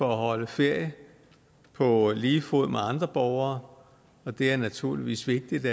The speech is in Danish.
holde ferie på lige fod med andre borgere og det er naturligvis vigtigt